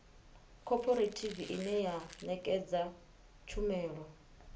khophorethivi ine ya ṋekedza tshumelo